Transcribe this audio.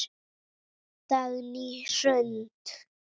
Dagný Hrund.